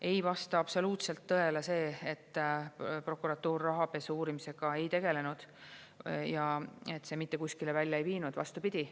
Ei vasta absoluutselt tõele see, et prokuratuur rahapesu uurimisega ei tegelenud ja et see mitte kuskile välja ei viinud, vastupidi.